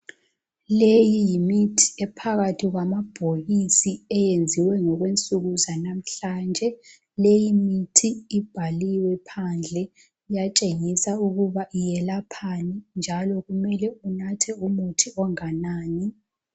Leyi yimithi ephakathi kwamabhokisi eyenziwe ngokwensuku zanamhlanje. Leyi imithi ibhaliwe phandle, iyatshengisa ukuba yelaphani, njalo kumele unathe umuthi onganani